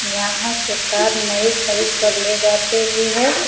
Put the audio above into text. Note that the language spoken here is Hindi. यहाँ से कार नई खरीद कर ले जाते भी हैं।